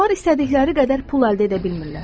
İnsanlar istədikləri qədər pul əldə edə bilmirlər.